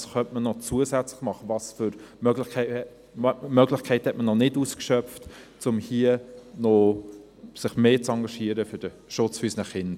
Was kann man zusätzlich tun, welche Möglichkeiten hat man noch nicht ausgeschöpft, um sich hier zum Schutze unserer Kinder mehr zu engagieren?